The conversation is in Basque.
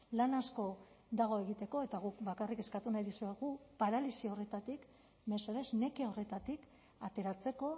lan asko dago egiteko eta guk bakarrik eskatu nahi dizuegu paralisi horretatik mesedez neke horretatik ateratzeko